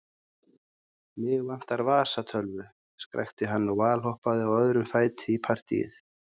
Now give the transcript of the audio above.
Mig vantar vasatölvu, skrækti hann og valhoppaði á öðrum fæti í partýið.